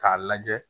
K'a lajɛ